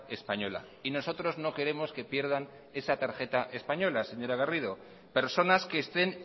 española y nosotros no queremos que pierdan esa tarjeta española señora garrido personas que estén